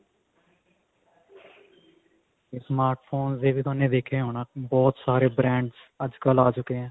ਇਹ smart phone ਦਾ ਵੀ ਥੋਨੇ ਦੇਖਿਆ ਹੋਣਾ ਬਹੁਤ ਸਾਰੇ brand ਅੱਜਕਲ ਆ ਚੁਕੇ ਨੇ